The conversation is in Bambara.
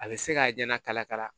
A bɛ se k'a ɲɛna kalakala